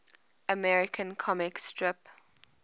american comic strip